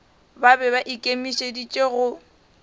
ba be ba ikemišeditše go